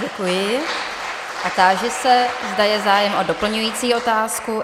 Děkuji a táži se, zda je zájem o doplňující otázku.